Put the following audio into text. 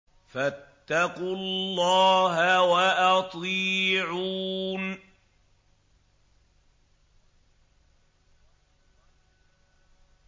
فَاتَّقُوا اللَّهَ وَأَطِيعُونِ